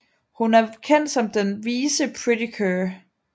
Hun er kendt som den vise Pretty Cure